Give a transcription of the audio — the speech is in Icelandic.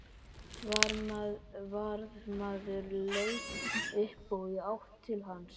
Varðmaður leit upp og í átt til hans.